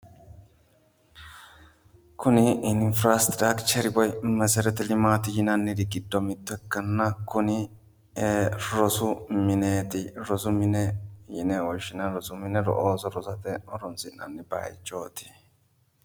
Kuni infirastirakicher woyi meseretelimati yinanniri giddo mitto ikkanna kuni rosu mineeti, rosu mine yine woshinanni. Rosu mine ooso rosate horonsi'nanni bayichooti.